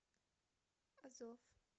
азов